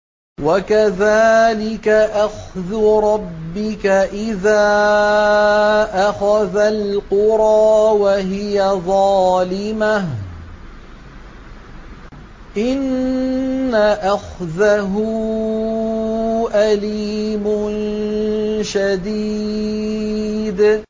وَكَذَٰلِكَ أَخْذُ رَبِّكَ إِذَا أَخَذَ الْقُرَىٰ وَهِيَ ظَالِمَةٌ ۚ إِنَّ أَخْذَهُ أَلِيمٌ شَدِيدٌ